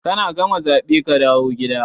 Kana gama zabe kadawo gida.